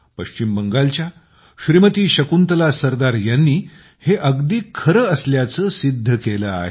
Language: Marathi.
पश्चिम बंगालच्या श्रीमती शकुंतला सरदार यांनी हे अगदी खरे असल्याचे सिद्ध केले आहे